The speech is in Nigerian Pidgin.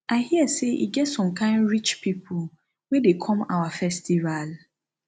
i hear say e get some kin rich people wey dey come our festival